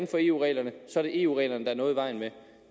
for eu reglerne er det eu reglerne der er noget i vejen med